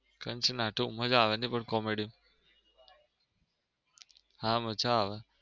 Kanchana two મજા આવે નઈ, પણ comedy હા મજા આવે